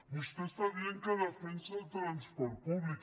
vostè està dient que defensa el transport públic